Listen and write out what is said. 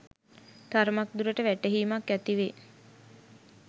තරමක් දුරට වැටහීමක් ඇති වේ.